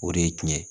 O de ye tiɲɛ ye